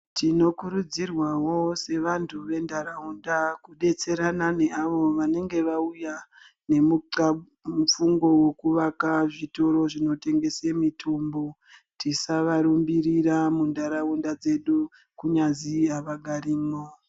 Tinokurudzirwawo sevantu ventaraunda kudetserana neavo vanenge vauya nemufungo wokuvaka zvitoro zvinotengese mitombo. Tisavarumbirira muntaraunda dzedu, kunyazi havagarimwo.